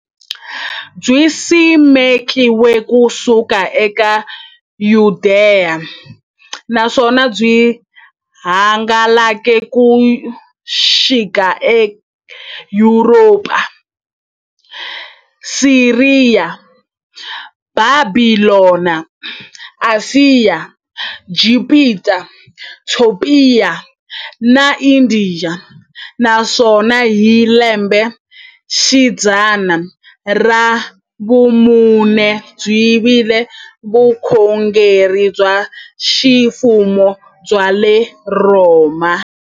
Byisimekiwe ku suka e Yudeya, naswona byi hangalake ku xika e Yuropa, Siriya, Bhabhilona, Ashiya, Gibhita, Topiya na Indiya, naswona hi lembexidzana ra vumune byi vile vukhongeri bya ximfumo bya le Rhoma.